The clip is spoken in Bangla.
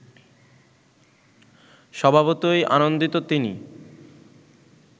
স্বভাবতই আনন্দিত তিনি